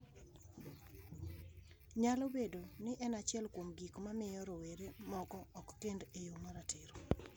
Nyalo bedo ni en achiel kuom gik ma miyo rowere moko ok kend e yo ma ratiro.